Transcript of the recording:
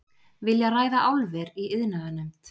Vilja ræða álver í iðnaðarnefnd